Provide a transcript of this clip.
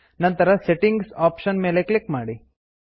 ನಂತರ settings option ಮೇಲೆ click ಮಾಡಿ